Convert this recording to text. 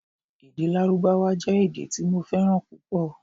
Èdè Lárúbáwá jẹ́ èdè tí mo fẹ́ràn púpọ̀